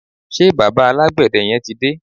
Ṣé bàbá alágbède yẹn ti dé?